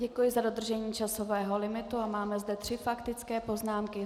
Děkuji za dodržení časového limitu a máme zde tři faktické poznámky.